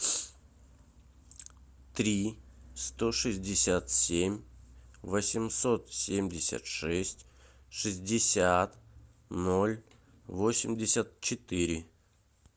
три сто шестьдесят семь восемьсот семьдесят шесть шестьдесят ноль восемьдесят четыре